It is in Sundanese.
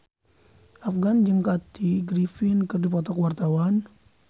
Afgan jeung Kathy Griffin keur dipoto ku wartawan